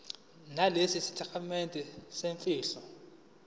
nalesi sitatimende semfihlo